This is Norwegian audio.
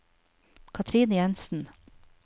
Cathrine Jensen